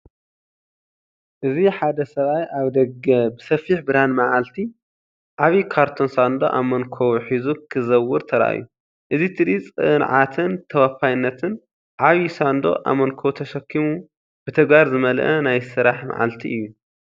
እዚ ሓደ ሰብኣይ ኣብ ደገ ብሰፊሕ ብርሃን መዓልቲ፡ ዓቢ ካርቶን ሳንዱቕ ኣብ መንኵቡ ሒዙ ክዘውር ተራእዩ። እዚ ትርኢት ጸዓትን ተወፋይነትን፡ ዓቢ ሳንዱቕ ኣብ መንኵቡ ተሰኪሙ፡ ብተግባር ዝመልአ ናይ ስራሕ መዓልቲ እዩ።